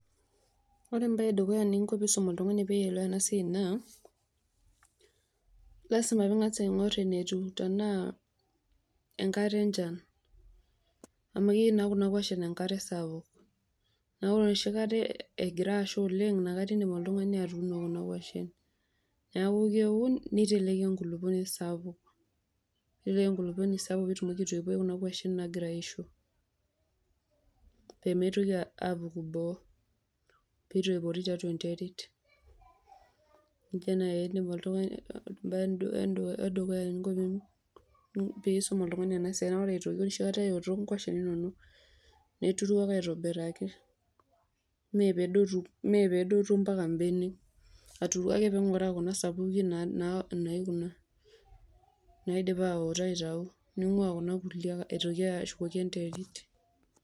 Ore mbaa edukuya eninko piisum oltungani piielewa ena siai naa,  lasima piing'as aing'orr enetu tenaa enkata enchan amu keyou naa kuna kuashin enkare sapuk, naa ore noshikata egira asha oleng' nakata eidim oltung'ani atuuno kuna kuashin. Neaku keun neiteleki enkulukuoni sapuk, nepik enkulukuoni sapuk peetumoki aitoipo kuna kuashin nagira aisho peemeitoki apuku boo peitoipori tiatua enterit, neija naieidim oltung'ani embae edukuya eninko piisum oltung'ani ena siai naa ore aitoki noshikata eoto nkuashin inono neturu ake aitobiraki mee peedotu mpaka mbenek, aturu ake peing'oraa kuna sapuki naa naikuna naidipa aoto aitau , neing'uaa kuna kulie aitoki ashukoki enterit.